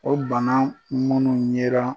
O bana munu yera.